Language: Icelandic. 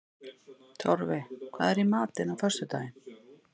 Torfi, hvað er í matinn á föstudaginn?